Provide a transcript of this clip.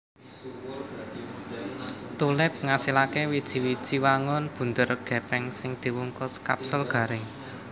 Tulip ngasilaké wiji wiji wangun bunder gèpèng sing diwungkus kapsul garing